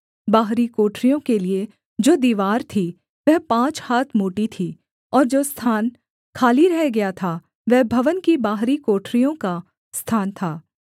बाहरी कोठरियों के लिये जो दीवार थी वह पाँच हाथ मोटी थी और जो स्थान खाली रह गया था वह भवन की बाहरी कोठरियों का स्थान था